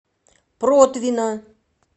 протвино